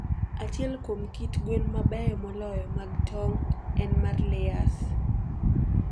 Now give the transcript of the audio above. Achiel kuom kit gwen mabeyo moloyo mag tong' en mar Layers.